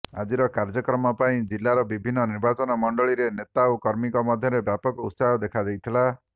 ଆଜିର କାର୍ଯ୍ୟକ୍ରମ ପାଇଁ ଜିଲାର ବିଭିନ୍ନ ନିର୍ବାଚନ ମଣ୍ଡଳୀର ନେତା ଓ କର୍ମୀଙ୍କ ମଧ୍ୟରେ ବ୍ୟାପକ ଉତ୍ସାହ ଦେଖାଦେଇଥିଲା